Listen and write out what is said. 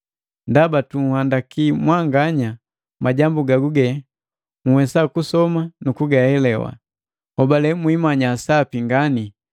Ndaba tunhandaki mwanganya majambu gaguge nhwesa kusoma na kugahelewa. Nhobale mwimanya sapi ngani,